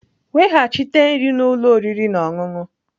Weghachite nri na ụlọ oriri na ọṅụṅụ!